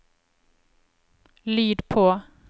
lyd på